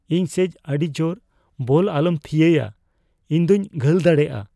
ᱤᱧ ᱥᱮᱡ ᱟᱹᱰᱤ ᱡᱳᱨ ᱵᱚᱞ ᱟᱞᱚᱢ ᱛᱷᱤᱭᱟᱹᱭᱟ ᱾ ᱤᱧ ᱫᱚᱧ ᱜᱷᱟᱹᱞ ᱫᱟᱲᱮᱭᱟᱜᱼᱟ ᱾